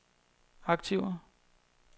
aktiver